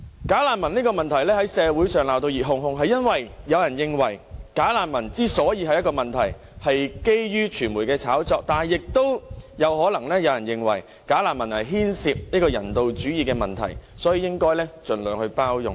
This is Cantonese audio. "假難民"的問題在社會上鬧得熱哄哄，是因為有人認為"假難民"之所以成為問題是基於傳媒的炒作，但亦有人認為"假難民"牽涉人道主義的問題，所以應該盡量包容。